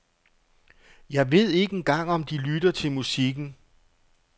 Jeg ved ikke engang om de lytter til musikken.